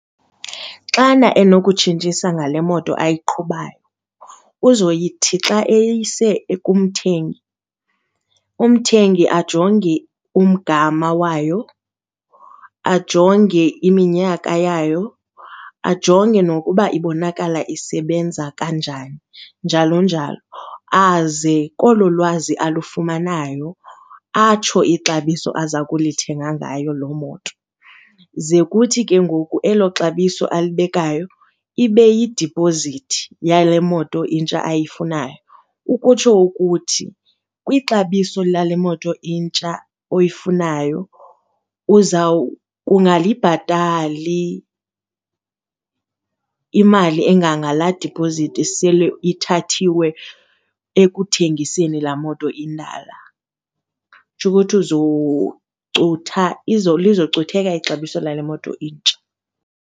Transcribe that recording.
Xana enokutshintshisa ngale moto ayiqhubayo uzoyithi xa eyise kumthengi umthengi ajonge umgama wayo, ajonge iminyaka yayo, ajonge nokuba ibonakala isebenza kanjani, njalo njalo. Aze olo lwazi olufumanayo atsho ixabiso aza ukulithenga ngayo loo moto ze kuthi ke ngoku elo xabiso alibekayo, ibe yidipozithi yale moto intsha ayifunayo. Ukutsho ukuthi kwixabiso lale moto intsha oyifunayo uzawukungalibhatali imali engangalaa diphozithi esele ithathiwe ekuthengiseni laa moto indala. Kutsho ukuthi uzocutha, lizocutheka ixabiso lale moto intsha.